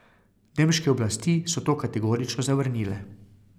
Nemške oblasti so to kategorično zavrnile.